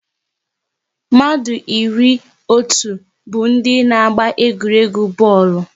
Mmadụ iri na otu bụ ndị n'agba egwuregwu bọọlụ